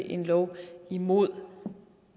en lov imod